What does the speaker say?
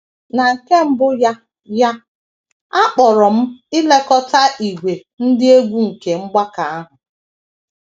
Na nke mbụ ya ya, a kpọrọ m ilekọta ìgwè ndị egwú nke mgbakọ ahụ.